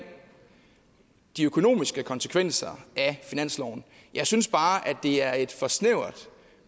de økonomiske konsekvenser af finansloven jeg synes bare at det er et alt for snævert